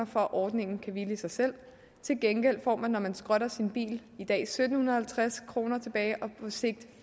for at ordningen kan hvile i sig selv til gengæld får man når man skrotter sin bil i dag sytten halvtreds kroner tilbage og på sigt